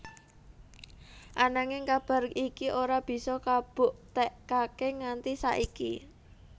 Ananging kabar iki ora bisa kabuktekaké nganti saiki